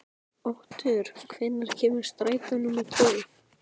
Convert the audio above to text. Otur, hvenær kemur strætó númer tólf?